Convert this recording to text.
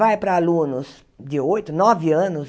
Vai para alunos de oito, nove anos